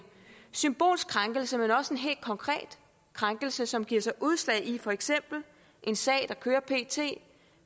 symbolsk krænkelse men også en helt konkret krænkelse som giver sig udslag i for eksempel en sag der kører pt